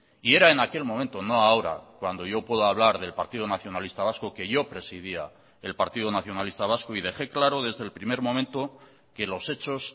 y era en aquel momento no ahora cuando yo puedo hablar del partido nacionalista vasco que yo presidia el partido nacionalista vasco y deje claro desde el primer momento que los hechos